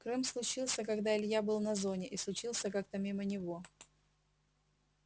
крым случился когда илья был на зоне и случился как-то мимо него